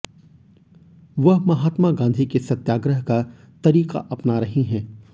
वह महात्मा गाँधी के सत्याग्रह का तरीक़ा अपना रही हैं